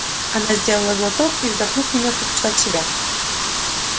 она сделала глоток и вздохнув немножко пришла в себя